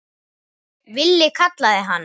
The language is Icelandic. Villi kallaði hann.